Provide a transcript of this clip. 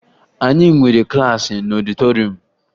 Anyị nwere klaasị n'ọdịtoruum